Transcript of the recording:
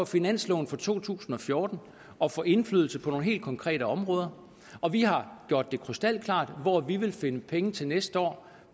finansloven for to tusind og fjorten at få indflydelse på nogle helt konkrete områder og vi har gjort det krystalklart hvor vi vil finde penge til næste år